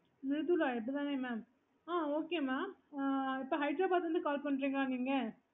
ஆமா mam அஹ் எனக்கு